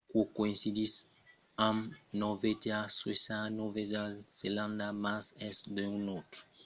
aquò coïncidís amb norvègia suècia e nòva zelanda mas es d'un autre costat pro unic per exemple als païses basses lo nombre es d'un per quaranta